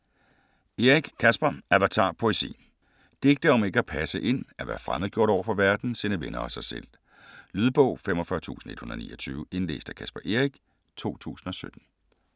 Eric, Caspar: Avatar: poesi Digte om ikke at passe ind; at være fremmedgjort overfor verden, sine venner og sig selv. Lydbog 45129 Indlæst af Caspar Eric, 2017.